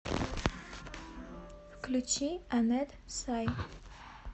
включи анет сай